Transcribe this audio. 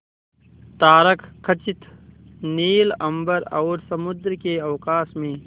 तारकखचित नील अंबर और समुद्र के अवकाश में